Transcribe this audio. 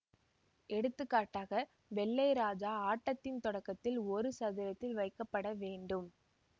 எடுத்துக்காட்டாக வெள்ளை ராஜா ஆட்டத்தின் தொடக்கத்தில் ஒரு சதுரத்தில் வைக்கப்பட வேண்டும்